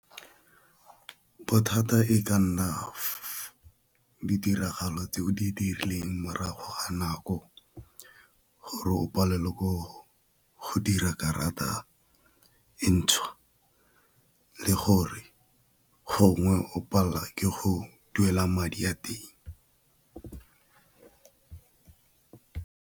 Bothata e ka nna ditiragalo tse o di dirileng morago a nako gore o palelwe ko go dira karata e ntšhwa, le gore gongwe o palela ke go duela madi a teng.